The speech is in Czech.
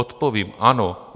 Odpovím ano.